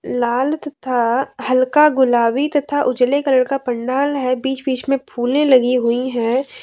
लाल तथा हल्का गुलाबी तथा उजाले कलर का पंडाल है बीच बीच में फूले लगी हुई हैं।